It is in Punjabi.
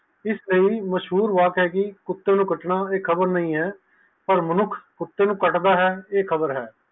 ਇਸ ਲਈ ਮਸ਼ਹੂਰ ਵਾਕ ਹੈ ਜੀ ਕੁਟਨੇ ਨਾ ਕੱਟਣਾ ਆ ਖ਼ਬਰ ਨਹੀਂ ਹੈ ਜੀ ਪਰ ਮਨੁੱਖ ਕੁਤੇ ਨੂੰ ਕੱਟਦਾ ਹੈ ਇਹ ਖ਼ਬਰ ਹੈ